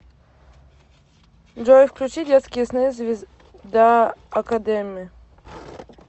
джой включи детские сны звезда академи